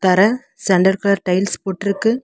தர sandal colour tiles போட்ருக்கு.